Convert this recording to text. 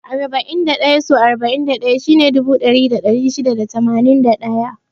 Arba'in da ɗaya so arba'in da ɗaya shine dubu ɗaya da ɗari shida da tamanin da ɗaya.